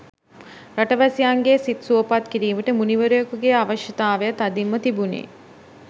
රටවැසියන්ගේ සිත් සුවපත් කිරීමට මුනිවරයෙකුගේ අවශ්‍යතාව තදින්ම තිබුණි.